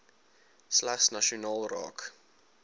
slegs nasionaal raak